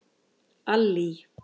Allý